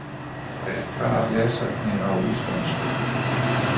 Frekara lesefni á íslensku